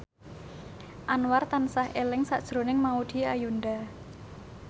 Anwar tansah eling sakjroning Maudy Ayunda